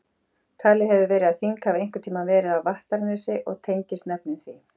Talið hefur verið að þing hafi einhvern tíma verið á Vattarnesi og tengist nöfnin því.